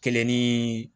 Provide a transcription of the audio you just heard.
Kelen ni